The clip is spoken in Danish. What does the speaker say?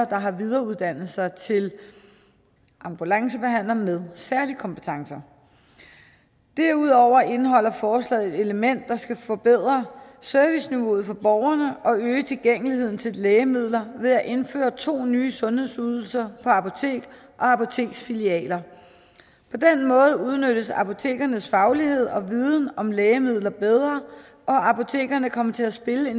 der har videreuddannet sig til ambulancebehandler med særlige kompetencer derudover indeholder forslaget et element der skal forbedre serviceniveauet for borgerne og øge tilgængeligheden til lægemidler ved at indføre to nye sundhedsydelser på apotek og apoteksfilialer på den måde udnyttes apotekernes faglighed og viden om lægemidler bedre og apotekerne kommer til at spille